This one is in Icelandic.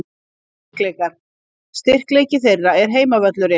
Styrkleikar: Styrkleiki þeirra er heimavöllurinn.